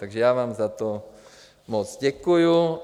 Takže já vám za to moc děkuju.